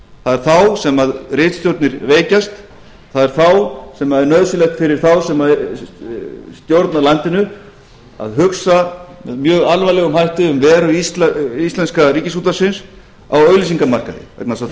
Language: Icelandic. það er þá sem ritstjórnir veikjast það er þá sem er nauðsynlegt fyrir þá sem stjórna landinu að hugsa með mjög alvarlegum hætti um veru íslenska ríkisútvarpsins á auglýsingamarkaði vegna þess að